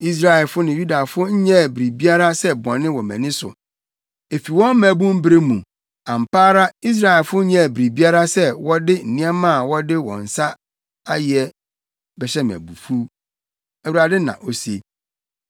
“Israelfo ne Yudafo nyɛɛ biribiara sɛ bɔne wɔ mʼani so, efi wɔn mmabun bere mu; ampa ara Israelfo nyɛɛ biribiara sɛ wɔde nneɛma a wɔde wɔn nsa ayɛ bɛhyɛ me abufuw, Awurade na ose.